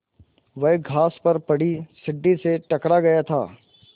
वह घास पर पड़ी सीढ़ी से टकरा गया था